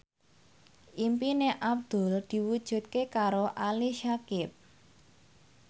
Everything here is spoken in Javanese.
impine Abdul diwujudke karo Ali Syakieb